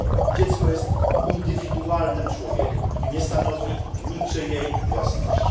Dziecko jest indywidualnym człowiekiem, nie stanowi niczyjej własności.